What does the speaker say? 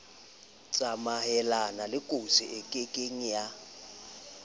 tsamayelana lekotsi e kieng ya